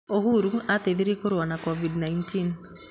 Uhuru ateithirie kũrũa na COVID19.